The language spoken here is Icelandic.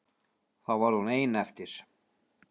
Þá varð hún ein eftir.